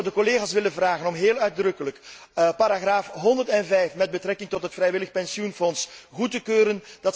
Ik zou de collega's willen vragen om heel uitdrukkelijk paragraaf 105 met betrekking tot het vrijwillig pensioenfonds goed te keuren.